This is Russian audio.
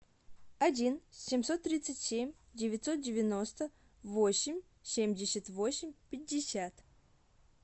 один семьсот тридцать семь девятьсот девяносто восемь семьдесят восемь пятьдесят